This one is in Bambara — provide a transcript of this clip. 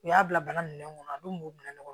U y'a bila bana minɛn kɔnɔ a dun b'u minɛ ɲɔgɔn na